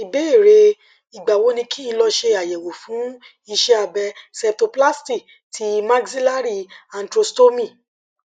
ìbéèrè igba wo ni kin lo se ayewo fun ise abe septoplasty ti maxillary antrostomy